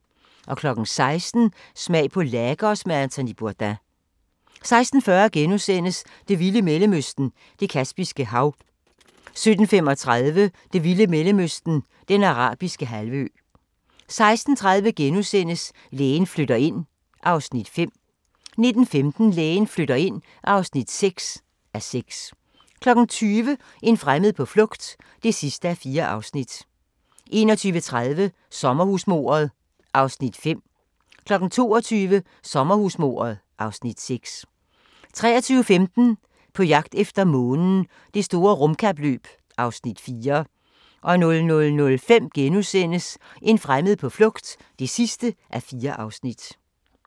16:00: Smag på Lagos med Anthony Bourdain 16:40: Det vilde Mellemøsten – Det Kaspiske Hav * 17:35: Det vilde Mellemøsten – Den Arabiske Halvø 18:30: Lægen flytter ind (5:6)* 19:15: Lægen flytter ind (6:6) 20:00: En fremmed på flugt (4:4) 21:30: Sommerhusmordet (Afs. 5) 22:00: Sommerhusmordet (Afs. 6) 23:15: På jagt efter månen – Det store rumkapløb (Afs. 4) 00:05: En fremmed på flugt (4:4)*